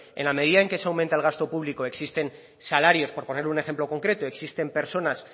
en la medida en que se aumenta el gasto público existen salarios por ponerle un ejemplo concreto existen personas